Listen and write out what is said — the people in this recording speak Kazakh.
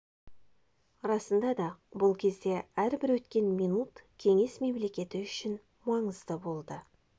расында да бұл кезде әрбір өткен минут кеңес мемлекеті үшін маңызды болды